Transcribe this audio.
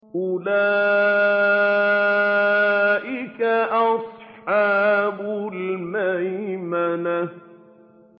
أُولَٰئِكَ أَصْحَابُ الْمَيْمَنَةِ